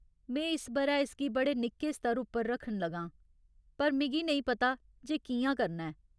में इस ब'रै इसगी बड़े निक्के स्तर उप्पर रक्खन लगां, पर मिगी नेईं पता जे कि'यां करना ऐ।